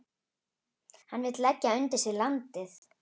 Hann vill leggja undir sig landið.